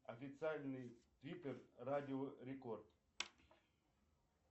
официальный диппер радио рекорд